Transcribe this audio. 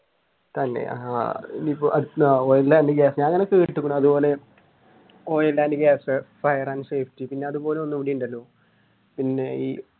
തന്നെ oil and gas, fire and safety പിന്നെ അതുപോലെ ഒന്നും കൂടി ഉണ്ടല്ലോ പിന്നെയി